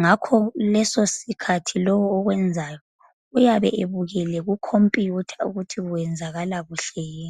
Ngakho leso sikhathi lowo okwenzayo uyabe ebukele kucomputer ukuthi kwenzakala kuhle yini.